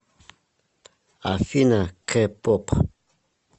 афина кэ поп